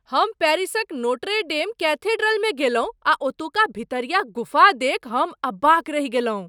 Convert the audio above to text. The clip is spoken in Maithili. हम पेरिसक नोट्रे डेम कैथेड्रलमे गेलहुँ आ ओतुका भितरिया गुफा देखि हम अवाक रहि गेलहुँ।